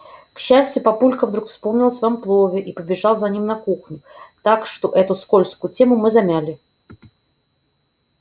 к счастью папулька вдруг вспомнил о своём плове и побежал за ним на кухню так что эту скользкую тему мы замяли